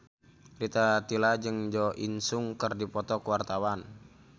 Rita Tila jeung Jo In Sung keur dipoto ku wartawan